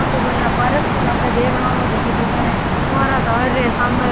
आ तो कोई या पार्क सो लागे देखनाऊ जकी जगह यान फुवारा चाल रिया है सामे